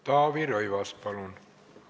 Taavi Rõivas, palun!